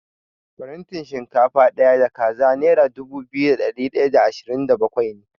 Farantin shinkafa ɗaya da kaza nera dubu biyu da ɗari ɗaya da ashirin da bakwai ne.